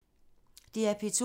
DR P2